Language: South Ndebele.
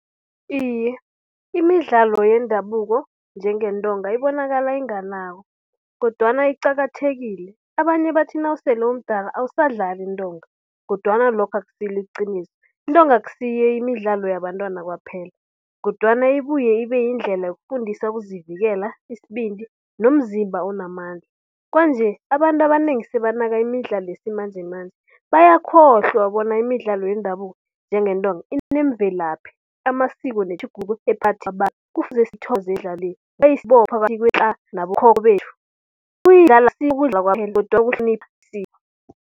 Iye, imidlalo yendabuko njengentonga ibonakala inganakwa kodwana iqakathekile. Abanye bathi nasele umdala awusadlali iintonga kodwana lokho akusilo iqiniso. Intonga akusiyo imidlalo yabantwana kwaphela kodwana ibuye ibe yindlela yokufundisa ukuzivikela, isibindi nomzimba onamandla. Kwanje abantu abanengi sebanaka imidlalo yesimanjemanje bayakhohlwa bona imidlalo yendabuko njengentonga inemvelaphi amasiko .